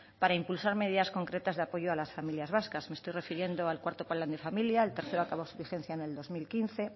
para impulsar medidas concretas de apoyo a las familias vascas me estoy refiriendo al cuarto plan de familia el tercero acabó su vigencia en el dos mil quince